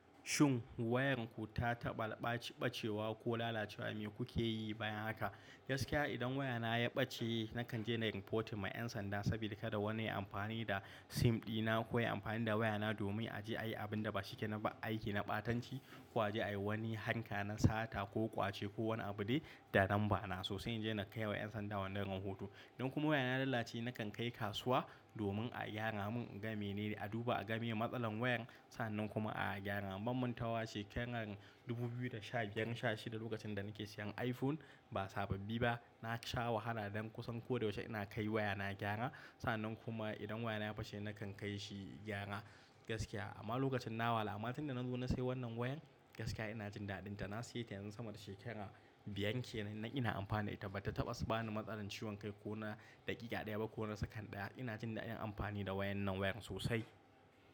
Shin wayanku ta taɓa ɓa-ɓacewa ko lalacewa, me kuke yi bayan haka? Gaskiya idan wayana ya ɓace, nakan je na yi reporting ma 'yan sanda sabida kada wani ya yi amfani da SIM ɗina ko ya yi amfani da wayana domin a je a yi abin da ba shi ke na ba, aiki na ɓatanci ko a je a yi wani harka na sata ko ƙwace ko wani abu dai da lambana. Sosai na je na kai wa 'yan sanda wannan rahoto. Idan kuma wayana ta lalace, nakan kai kasuwa domin a gyara mun. Gama mene a duba a ga meye matsalar wayar, sannan kuma a gyara. Ban mantawa shekarar 2016 lokacin da nake siyan iPhone. Ba sababbi ba. Na sha wahala don kusan koda yaushe ina kai wayana gyara. Sa'annan kuma idan wayana ya face nakan kai shi gyara gaskiya. Amma lokacin na walaha, amma tun da na zo na sayi wannan wayan gaskiya ina jin daɗinta. Na saye ta yanzu sama da shekara biyar kenan ina amfani da ita. Bata taɓa su bani matsalar ciwon kai ko na daƙiƙa ɗaya ba ko na sakan ɗaya. Ina jin daɗin amfani da wayan nan wayar sosai.